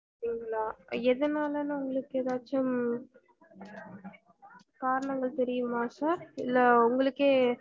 அப்டிங்கள எதுனாலன்னு உங்களுக்கு ஏதாச்சும் காரணங்கள் தெரியுமா sir இல்ல உங்களுக்கே